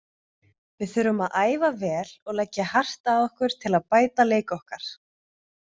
Við þurfum að æfa vel og leggja hart að okkur til að bæta leik okkar.